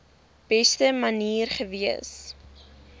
beste manier gewees